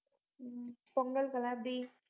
உம் பொங்கலுக்கு எல்லாம் எப்படி